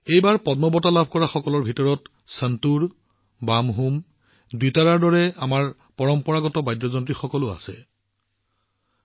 এইবাৰ পদ্ম বঁটা বিজয়ীসকলৰ ভিতৰত সেইসকল লোক আছে যিসকলে সন্তুৰ বামহুম দোতাৰাৰ দৰে আমাৰ পৰম্পৰাগত বাদ্যযন্ত্ৰৰ জৰিয়তে সুৰ বিয়পোৱাত দক্ষতা লাভ কৰিছে